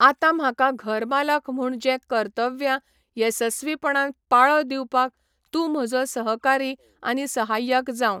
आतां म्हाका घरमालक म्हूण जे कर्तव्यां येसस्वीपणान पाळो दिवपाक तूं म्हजो सहकारी आनी सहाय्यक जावं.